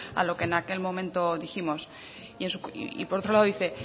a lo que en aquel momento dijimos y por otro lado dice